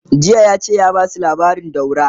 jiya yace ya Basu labarin daura!